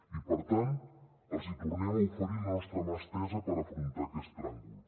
i per tant els tornem a oferir la nostra mà estesa per afrontar aquest tràngol